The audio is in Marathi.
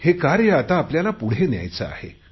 हे कार्य आता आपल्याला पुढे न्यायाचे आहे